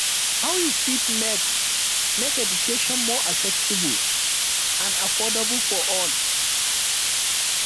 how you fit make make education more accessible and affordable for all